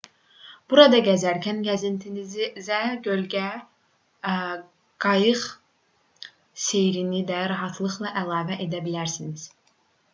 burada gəzərkən gəzintinizə göldə qayıq seyrini də rahatlıqla əlavə edə bilərsiniz